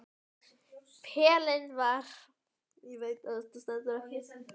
Pelinn var oftast í gólfinu og skjálfandi hendur manns ráðlausar.